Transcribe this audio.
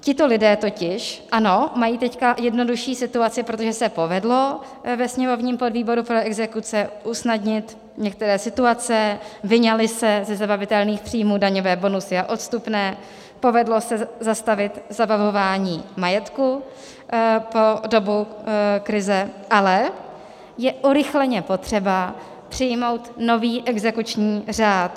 Tito lidé totiž, ano, mají teď jednodušší situaci, protože se povedlo ve sněmovním podvýboru pro exekuce usnadnit některé situace, vyňaly se ze zabavitelných příjmů daňové bonusy a odstupné, povedlo se zastavit zabavování majetku po dobu krize, ale je urychleně potřeba přijmout nový exekuční řád.